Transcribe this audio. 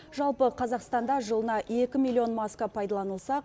жалпы қазақстанда жылына екі миллион маска пайдаланылса